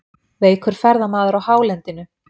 Veikur ferðamaður á hálendinu